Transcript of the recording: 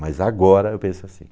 Mas agora eu penso assim.